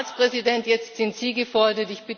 Herr Ratspräsident, jetzt sind Sie gefordert!